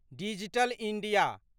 digital India